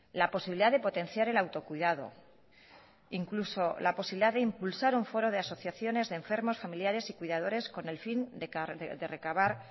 la posibilidad de potenciar el autocuidado incluso la posibilidad de impulsar un foro de asociaciones de enfermos familiares y cuidadores con el fin de recabar